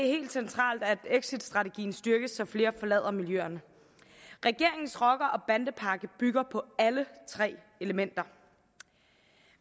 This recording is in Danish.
helt centralt at exitstrategien styrkes så flere forlader miljøerne regeringens rocker og bandepakke bygger på alle tre elementer